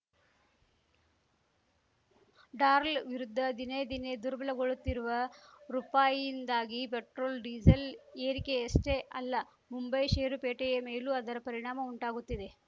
ಡಾರ್ಲ್ ವಿರುದ್ಧ ದಿನೇದಿನೇ ದುರ್ಬಲಗೊಳ್ಳುತ್ತಿರುವ ರುಪಾಯಿಯಿಂದಾಗಿ ಪೆಟ್ರೋಲ್‌ ಡೀಸೆಲ್‌ ಏರಿಕೆಯಷ್ಟೇ ಅಲ್ಲ ಮುಂಬೈ ಷೇರುಪೇಟೆಯ ಮೇಲೂ ಅದರ ಪರಿಣಾಮ ಉಂಟಾಗುತ್ತಿದೆ